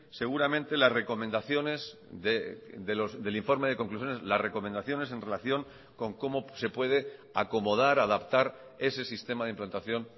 seguramente las recomendaciones del informe de conclusiones las recomendaciones en relación con cómo se puede acomodar adaptar ese sistema de implantación